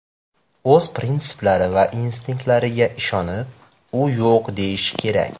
O‘z prinsiplari va instinktlariga ishonib, u yo‘q deyishi kerak.